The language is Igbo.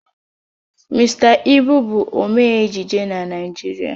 Mr. Ibu bụ onye omee ejije na Naijiria